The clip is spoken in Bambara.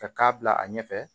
Ka k'a bila a ɲɛfɛ